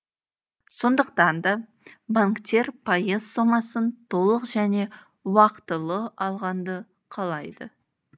сондықтанда банктер пайыз сомасын толық және уақтылы алғанды қалайды